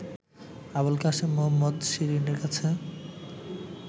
আবুল কাসেম মোহাম্মদ শিরীনের কাছে